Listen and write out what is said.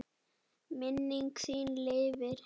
Minning þín lifir.